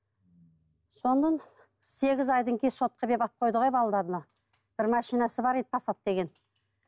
содан сегіз айдан алып қойды ғой балаларына бір машинасы бар еді пассат деген